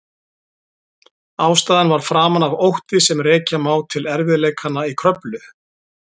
Ástæðan var framan af ótti sem rekja má til erfiðleikanna í Kröflu.